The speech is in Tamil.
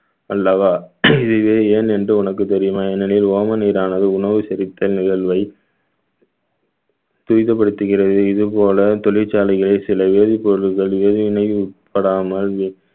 அல்லவா இதுவே ஏன் என்று உனக்கு தெரியுமா ஏனெனில் ஓம நீரானது உணவு செரித்தல் நிகழ்வை துரிதப்படுத்துகிறது இது போல தொழிற்சாலைகளை சில வேதிப்பொருட்கள் வேதிவினைப்படாமல்